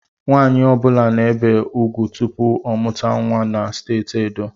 Nwanyi ọbula na-ebe ugwu tụpụ ọ mụta nwa na steeti Edo